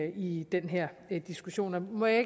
i den her diskussion må jeg